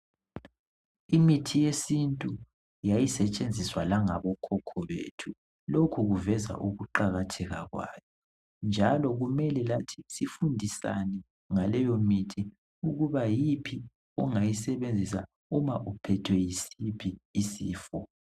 Imithi yesintu yayisetshenziswa langabo khokho bethu lokhu kuveza ukuqakatheka kwayo, njalo kumele lathi sifundisane ngaleyo mithi ukuba yiphi ongayisebenzisa uma uphethwe yisiphi isifo.